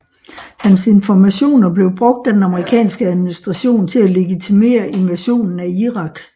Hans informationer blev brugt af den amerikanske administration til at legitimere invasionen af Irak